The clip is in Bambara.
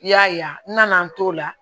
I y'a ye n nana n t'o la